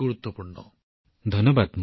গ্যানম জীঃ মোদীজীকো ধন্যবাদ